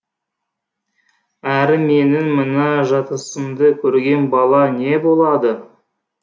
әрі менің мына жатысымды көрген бала не болады